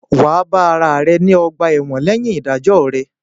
Wà á bá ara rẹ ní ọ̀gbà-ẹ̀wọ̀n lẹ́yìn ìdájọ́ rẹ̀